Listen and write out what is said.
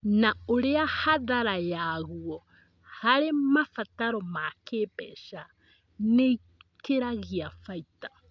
na ũrĩa hathara yaguo harĩ mabataro ma kĩĩmbeca nĩikiragia baita